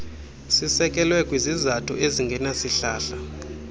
sisekelwe kwizizathu ezingenasihlahla